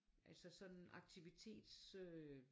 Altså sådan aktivitets øh